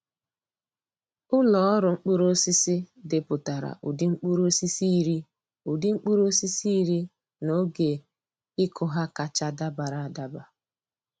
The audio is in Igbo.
Ụlọ ọrụ mkpụrụ osisi depụtara ụdị mkpụrụosisi iri ụdị mkpụrụosisi iri na oge ịkụ ha kacha dabara adaba.